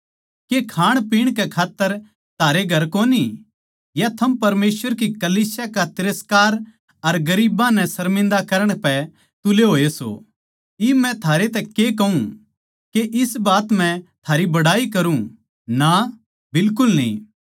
के खाणपीण कै खात्तर थारै घर कोनी या थम परमेसवर की कलीसिया का तिरस्कार अर गरीबां नै सर्मिन्दा करण पै तुले होए सों इब मै थारै तै के कहूँ के इस बात म्ह थारी बड़ाई करूँ ना बिलकुल न्ही